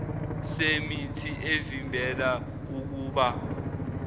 semithi evimbela ukubola